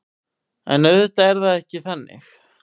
En auðvitað er það ekki þannig